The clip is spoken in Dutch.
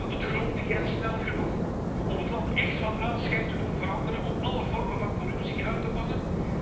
Gaat het grondig en snel genoeg om het land echt van aanschijn te doen veranderen, om alle vormen van corruptie uit te bannen?